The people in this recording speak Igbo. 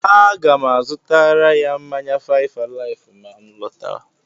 A ga m azutara ya mmanya fáịf àláịfụ mà nlọtáwá